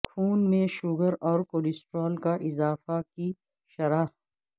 خون میں شوگر اور کولیسٹرول کا اضافہ کی شرح